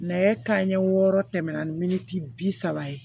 Nɛgɛ kanɲɛ wɔɔrɔ tɛmɛna minisi bi saba ye